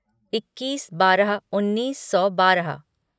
इक्कीस बारह उन्नीस सौ बारह